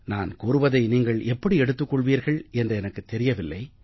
நான் கூறுவதை நீங்கள் எப்படி எடுத்துக் கொள்வீர்கள் என்று எனக்குத் தெரியவில்லை